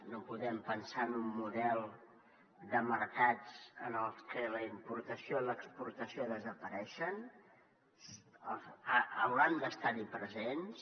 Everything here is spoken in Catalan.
no podem pensar en un model de mercats en el que la importació i l’exportació desapareixen hauran de ser hi presents